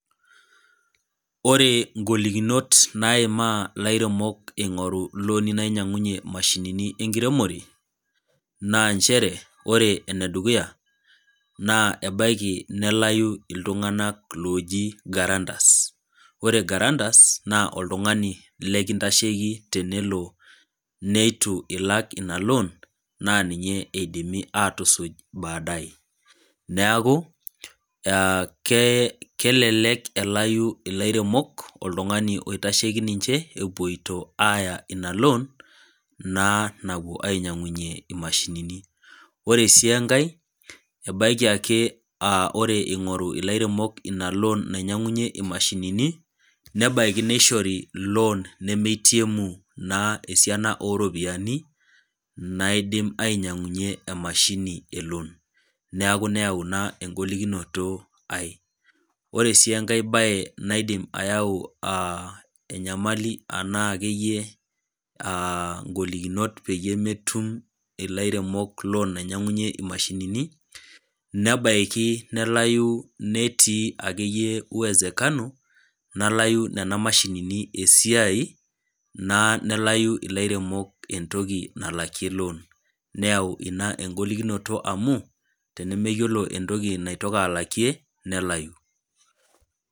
Ore ingolikinot naima lairemok eingoru looni nainyangunyie imashini enkiremore ,na nchere ore ene dukuya ebaiki nalau iltunganak looji garantus ,ore garantus naa oltungani lekintasheiki tenelo neitu ila ina loon naa ninye eidimi aatushuj baadae. naaku kelelek elau ilairemok oltungani oitasheki ninche epoitoi aya ina loon naa napuo ainyangunyie imashinini. ore sii enkae ebaiki naa ore eningoru ilairemok loon nainyangunyuie nena mashinini, nebaiki neishori loon nemeitemu naa esiana oropiyiani naidim ainyangunyie emashini eloon neeku nayau ina engolikinoto are. ore ake enkae bae naidim ayau enyamali enaa ngolikinot akeyie peyie metum ilairemok loon nainyangunyie imashinini ,nabaiki nelau netii akeyie wezekano neleu nena mashinini esiai nelau lelo airemok entoki nalakie loon ,neyau ina engolikinoto amu tenemeyiolo entoki naitoki alakie nalau.